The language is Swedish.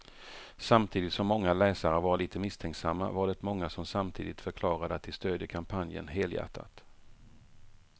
Samtidigt som många läsare var lite misstänksamma var det många som samtidigt förklarade att de stödjer kampanjen helhjärtat.